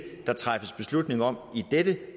der træffes beslutning om i dette